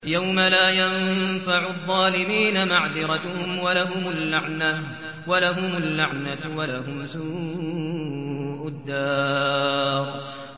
يَوْمَ لَا يَنفَعُ الظَّالِمِينَ مَعْذِرَتُهُمْ ۖ وَلَهُمُ اللَّعْنَةُ وَلَهُمْ سُوءُ الدَّارِ